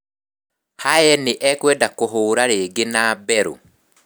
Haye nĩ ekwenda kũhũũra rĩngĩ na Bellew